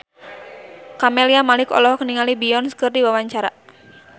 Camelia Malik olohok ningali Beyonce keur diwawancara